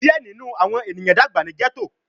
Diẹ ninu awọn eniyan dagba ni ghetto